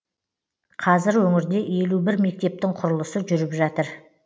қазір өңірде елу бір мектептің құрылысы жүріп жатыр